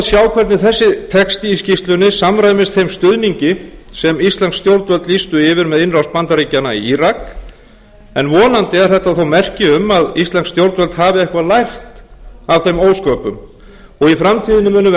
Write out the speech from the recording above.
sjá hvernig þessi texti í skýrslunni samræmist þeim stuðningi sem íslensk stjórnvöld lýstu yfir með innrás bandaríkjanna í írak en vonandi er þetta þó merki um að íslensk stjórnvöld hafi eitthvað lært af þeim ósköpum og í framtíðinni muni menn